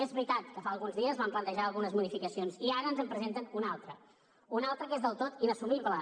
és veritat que fa alguns dies van plantejar algunes modificacions i ara ens en presenten una altra una altra que és del tot inassumible